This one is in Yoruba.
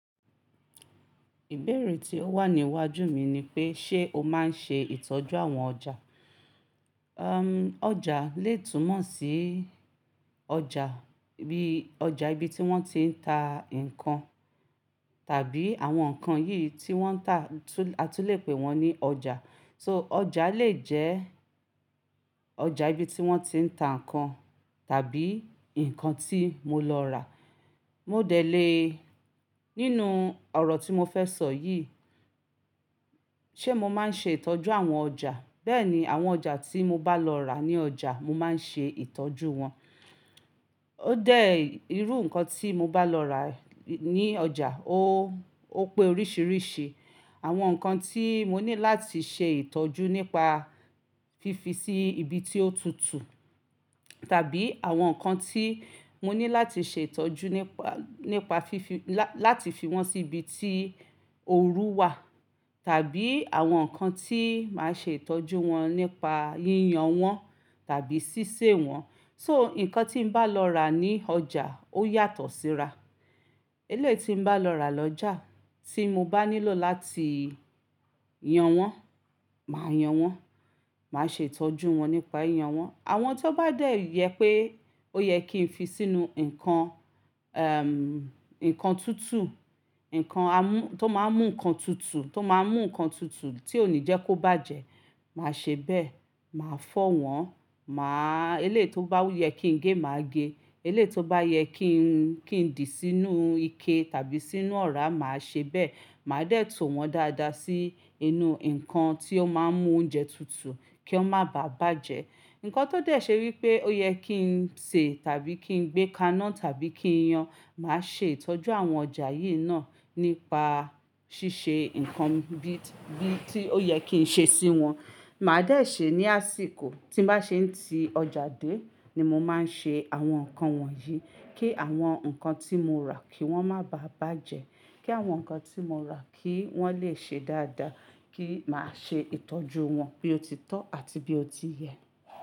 Ìbéèrè tí ó wà ní iwájú mi ni pé ṣe o máa ń ṣe ìtọ́jú àwọn ọjà? Umm, ọjà lè túmọ̀ sí ọjà bí ọjà ibi tí wọ́n ti ń ta nkan tàbí àwọn nkan yí wọ́n ń tà a tún lè pè wọ́n ní ọjà. So ọjà lè jẹ́ ọjà ibi tí wọ́n ti ń ta nkan tàbí ǹkan tí mo lọ rà. Mo dẹ̀ lé nínú ọ̀rọ̀ tí mo fẹ́ sọ yì. Ṣé mo máa ń ṣe ìtọ́jú àwọn ọjà? Bẹ́ẹ̀ni, àwọn ọjà tí mo bá lọ rà ní ọjà, mo máa ń ṣe ìtọ́jú wọn. Ó dẹ̀ irú ǹkan tí mo bá lọ rà ní ọjà, ó, ó pé oríṣiríṣi. Àwọn nǹkan tí mo ní láti ṣe ìtọ́jú nípa fífi sí ibi tí ó tutù tàbí àwọn ǹkan tí mo ní láti ṣe ìtọ́jú nípa, nípa fífi láti fi wọ́n sí ibi tí ooru wà tàbí àwọn ǹkan tí màá ṣe ìtọ́jú wọn nípa yíyan wọn tàbí ṣíṣe wọn. So nkan tí mo bá lọ rà ní ọjà ó yàtọ̀ síra. Eléyì mo bá lọ rà lọ́jà tí mo bá nílò láti yan wọ́n, màá yan wọ́n, màá ṣe ìtọ́jú wọn nípa yiyan wọ́n. Àwọn tó bá dẹ̀ yẹ pé ó yẹ kí n fi sínú nkan, nnkan tutù, nkan amú tó máa ń mú nkan tutù, tó máa ń mú nkan tutù tí ò ní jẹ́ kó bàjẹ́, màá ṣe bẹ́ẹ̀, màá fọ́ wọn, màá eléyi tó bá yẹ kí ń gé, màá gé, eléyì tó bá yẹ kí n, kí n dì sínú ike tàbí sínú ọ̀rá, màá ṣe bẹ́ẹ̀. Màá dẹ̀ tò wọ́n dadá sí inú nkan tí ó máa ń mú oúnjẹ tutù kí wọ́n má bàa bàjẹ́. Nkan tó dẹ̀ ṣe wípé ó yẹ kí ń sè tàbí kí ń gbé kaná tàbí kí ń yan, màá ṣe ìtọ́jú àwọn ọjà yí náà nípa ṣíṣe ǹkan bí, bí tí ó yẹ kí ń ṣe sí wọn. Màá dẹ̀ ṣe ní àsìkò tí màá ṣe ń ti ọjà dé ni mo máa ń ṣe àwọn ǹkan wọ̀nyí kí àwọn ǹkan tí mo rà kí wọ́n máa bà bàjẹ́, kí àwọn ǹkan tí mo rà kí wọ́n lè ṣe dádáa, kí màá ṣe ìtọ́jú wọn bí ó ti tọ́ àti bí ó ti yẹ.